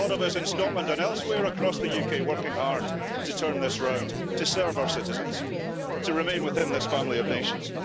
There are a lot of us in Scotland and elsewhere across the UK working hard to turn this round, to serve our citizens, to remain within this family of nations.